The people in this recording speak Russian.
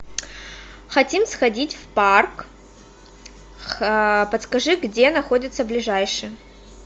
хотим сходить в парк подскажи где находится ближайший